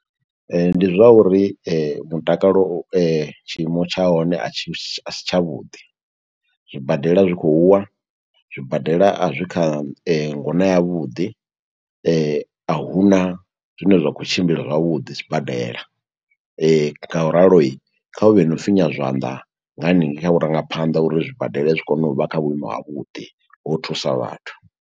Ndi zwa uri mutakalo tshiimo tsha hone a tshi a si tsha vhuḓi. Zwibadela zwi khou wa, zwibadela a zwi kha ngona ya vhuḓi, a huna zwine zwa khou tshimbila zwavhuḓi sibadela, ngauralo kha hu vhe na u finya zwanḓa nga haningei kha vhurangaphanḓa, uri zwibadela zwi kone u vha kha vhuimo ha vhuḓi, ho u thusa vhathu.